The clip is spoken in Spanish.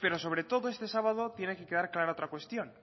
pero sobre todo este sábado tiene que quedar clara otra cuestión